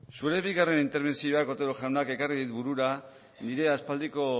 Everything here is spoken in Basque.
zure bigarren interbentzioak otero jauna ekarri dit burura nire aspaldiko